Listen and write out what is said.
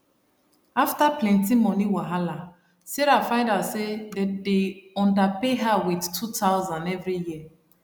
after plenty money wahala sarah find out say dem dey underpay her with 2000 every year